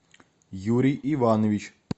юрий иванович